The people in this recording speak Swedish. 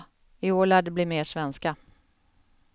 I år lär det bli mer svenska.